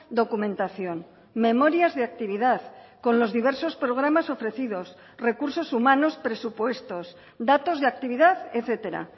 documentación memorias de actividad con los diversos programas ofrecidos recursos humanos presupuestos datos de actividad etcétera